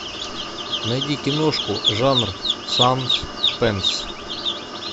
найди киношку жанр саспенс